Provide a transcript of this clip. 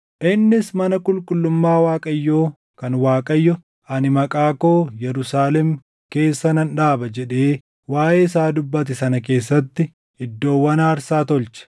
Innis mana qulqullummaa Waaqayyoo kan Waaqayyo, “Ani Maqaa koo Yerusaalem keessa nan dhaaba” jedhee waaʼee isaa dubbate sana keessatti iddoowwan aarsaa tolche.